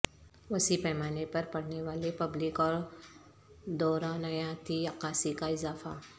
وسیع پیمانے پر پڑھنے والے پبلک اور دورانیاتی عکاسی کا اضافہ